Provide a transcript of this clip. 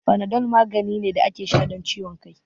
Fanadol magani ne da ake sha don ciwon kai